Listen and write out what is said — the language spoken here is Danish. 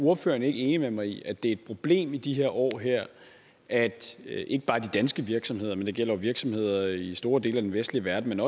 ordføreren ikke enig med mig i at det er et problem i de her år at ikke bare de danske virksomheder for det gælder virksomheder i store dele af den vestlige verden men